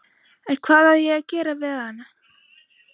En hvað á ég að gera við hann?